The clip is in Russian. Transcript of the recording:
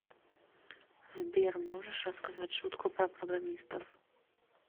сбер можешь рассказать шутку про программистов